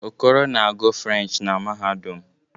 Okoro na-agu French na mahadum